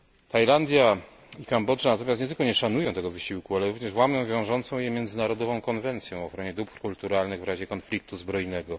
Tajlandia i Kambodża natomiast nie tylko nie szanują tego wysiłku, ale również łamią wiążącą je międzynarodową Konwencję o ochronie dóbr kulturalnych w razie konfliktu zbrojnego.